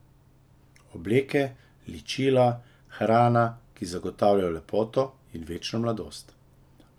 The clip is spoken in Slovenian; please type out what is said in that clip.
Obleke, ličila, hrana, ki zagotavljajo lepoto in večno mladost.